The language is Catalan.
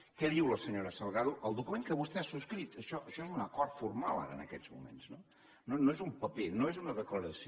què diu la senyora salgado al document que vostè ha subscrit això és un acord formal ara en aquests moments no no és un paper no és una declaració